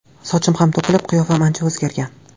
Sochim ham to‘kilib, qiyofam ancha o‘zgargan.